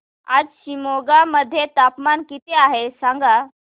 आज शिमोगा मध्ये तापमान किती आहे सांगा